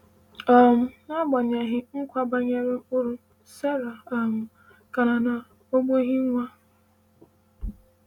um N’agbanyeghị nkwa banyere mkpụrụ, Sara um ka nọ n’ọgbọghị nwa.